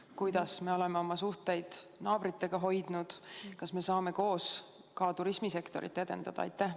Kuidas me oleme oma suhteid naabritega hoidnud, kas me saame koos ka turismisektorit edendada?